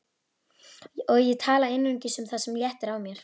Og ég tala einungis um það sem léttir á mér.